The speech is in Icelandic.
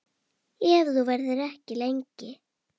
Ef þú verður ekki lengi.